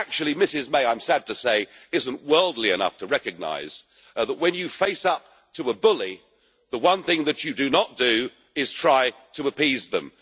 Actually Ms May, I am sad to say, is not worldly enough to recognise that when you face up to a bully, the one thing that you do not do is try to appease them.